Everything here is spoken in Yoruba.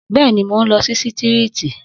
Bẹ́ẹ̀ni, mo ń lọ sí sítììrì